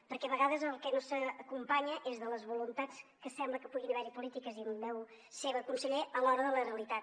perquè a vegades el que no s’acompanya és de les voluntats que sembla que puguin haver hi polítiques i en veu seva conseller a l’hora de la realitat